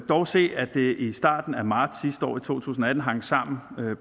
dog se at det i starten af marts sidste år i to tusind og atten hang sammen